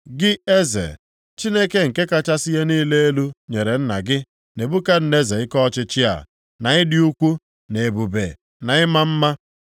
“Gị eze, Chineke nke kachasị ihe niile elu nyere nna gị, Nebukadneza ike ọchịchị a, na ịdị ukwu, na ebube, na ịma mma.